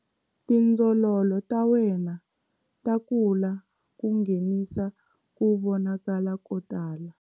Tindzololo ta wena ta kula ku nghenisa ku vonakala ko tala.